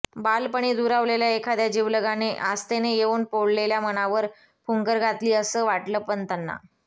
बालपणी दुरावलेल्या एखाद्या जिवलगाने आस्थेने येऊन पोळलेल्या मनावर फुंकर घातली असं वाटलं पंताना